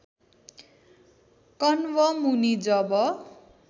कण्व मुनि जब